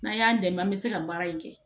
N'an y'an dɛmɛ an bɛ se ka baara in kɛ